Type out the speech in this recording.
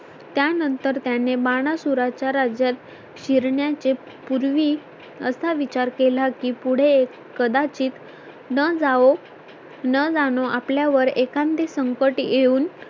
त्यानंतर त्याने बाणा सुरांच्या राज्यात फिरण्याचे पूर्वी असा विचार केला की पुढे कदाचित न जावो न जाणो आपल्या वर एखादे संकट येऊन